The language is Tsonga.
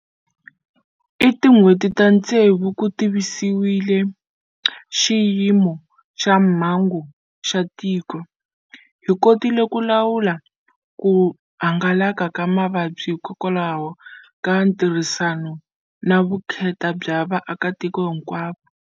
I tin'hweti ta ntsevu ku tivisiwile xiyimo xa mhangu xa tiko. Hi kotile ku lawula ku hangalaka ka mavabyi hikwalaho ka ntirhisano na vukheta bya vaakatiko hinkwavo.